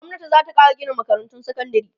gwamnati zata Kara Gina makarantun sekandari